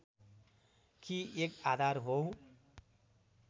कि एक आधार हो